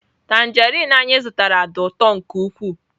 Tanjerịn anyị zụtara dị ụtọ nke ukwuu.